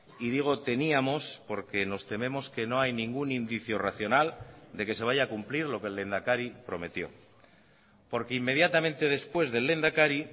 y digo teníamos porque nos tememos que no hay ningún indicio racional de que se vaya a cumplir lo que el lehendakari prometió porque inmediatamente después del lehendakari